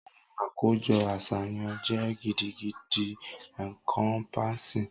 Awọn akojọ aṣayan jẹ gidigidi encompassing.